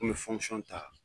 N go mi ta